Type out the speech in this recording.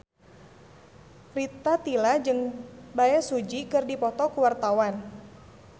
Rita Tila jeung Bae Su Ji keur dipoto ku wartawan